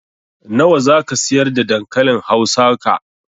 Nawa zaka siyar da dankalin hausa ka?